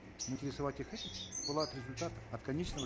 интересовать их этим было от результата от конечного